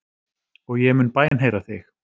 Og ég mun bænheyra þig.